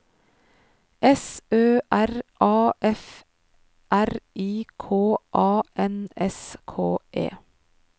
S Ø R A F R I K A N S K E